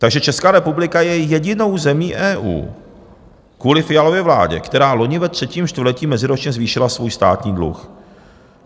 Takže Česká republika je jedinou zemí EU kvůli Fialově vládě, která loni ve třetím čtvrtletí meziročně zvýšila svůj státní dluh.